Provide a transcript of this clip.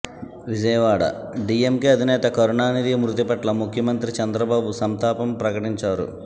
Vijayawada DMK అధినేత కరుణానిధి మృతి పట్ల ముఖ్యమంత్రి చంద్రబాబు సంతాపం ప్రకటించారు